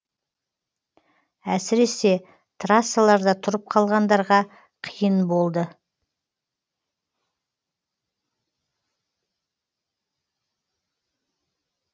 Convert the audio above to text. әсіресе трассаларда тұрып қалғандарға қиын болды